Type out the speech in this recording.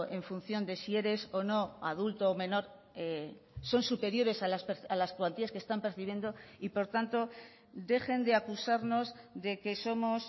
en función de si eres o no adulto o menor son superiores a las cuantías que están percibiendo y por tanto dejen de acusarnos de que somos